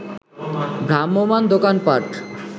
ভ্রাম্যমাণ দোকানপাট